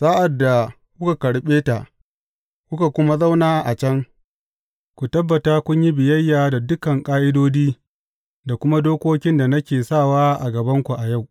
Sa’ad da kuka karɓe ta, kuka kuma zauna a can, ku tabbata kun yi biyayya da dukan ƙa’idodi, da kuma dokokin da nake sawa a gabanku a yau.